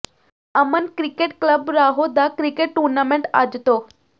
ਅਮਨ cricket club Rahon ਦਾ cricket tournament ਅੱਜ ਤੋਂ